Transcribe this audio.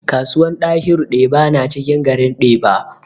Kasuwan dahiru deba na cikin garin deba